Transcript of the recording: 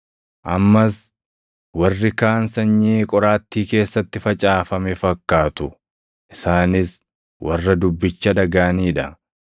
Ammas warri kaan sanyii qoraattii keessatti facaafame fakkaatu; isaanis warra dubbicha dhagaʼanii dha;